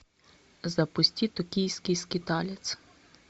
запусти токийский скиталец